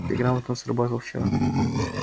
ты грамотно сработал вчера